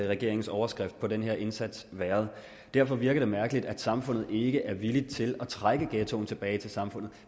regeringens overskrift på den her indsats været derfor virker det mærkeligt at samfundet ikke er villig til at trække ghettoen tilbage til samfundet